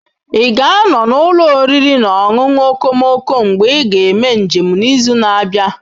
Ị ga-anọ n'ụlọ oriri na ọṅụṅụ okomoko mgbe ị ga-eme njem n'izu na-abịa?